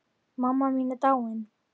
Mamma mín er dáin.